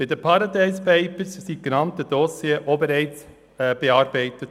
Bei den «Paradise Papers» hat sie die genannten Dossiers ebenfalls bearbeitet.